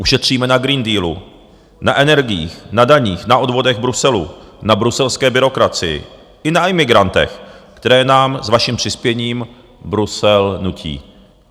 Ušetříme na Green Dealu, na energiích, na daních, na odvodech Bruselu, na bruselské byrokracii i na imigrantech, které nám s vaším přispěním Brusel nutí.